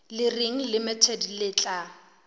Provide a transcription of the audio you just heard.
le reng limited le tla